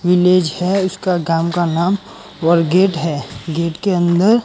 village है इसका काम का नाम और वलगेट हैं गेट के अंदर--